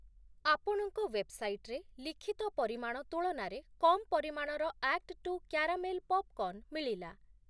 ଆପଣଙ୍କ ୱେବ୍‌ସାଇଟ୍‌ରେ ଲିଖିତ ପରିମାଣ ତୁଳନାରେ କମ୍ ପରିମାଣର ଆକ୍ଟ୍ ଟୁ କ୍ୟାରାମେଲ୍‌ ପପ୍‌କର୍ଣ୍ଣ୍‌ ମିଳିଲା ।